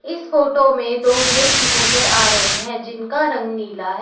इस फोटो में दो गेट नजर आ रहे हैं जिसका रंग नीला है।